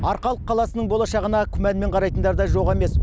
арқалық қаласының болашағына күмәнмен қарайтындар да жоқ емес